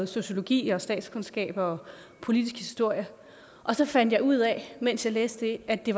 sociologi og statskundskab og politisk historie og så fandt jeg ud af mens jeg læste det at det